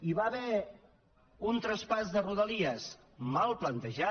hi va haver un traspàs de rodalies mal plantejat